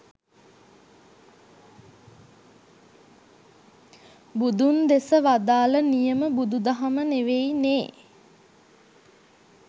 බුදුන් දෙස වදාළ නියම බුදු දහම නෙවෙයි නේ